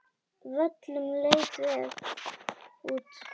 Völlur leit vel út.